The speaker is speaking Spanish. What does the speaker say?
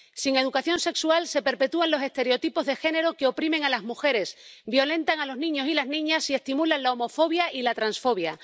Sin educación sexual se perpetúan los estereotipos de género que oprimen a las mujeres, violentan a los niños y las niñas y estimulan la homofobia y la transfobia.